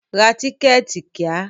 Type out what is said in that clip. Ra tíkẹ̀tì kíá!